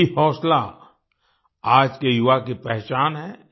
यही हौसला आज के युवा की पहचान है